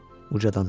ucadan dedi.